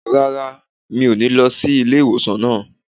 Rárá, mi ò ní lọ sí ilé ìwòsàn náà.